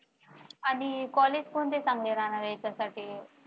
आणि college कोणते चांगले राहणार आहे याच्यासाठी